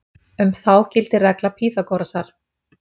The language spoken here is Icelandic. Um þá gildir regla Pýþagórasar.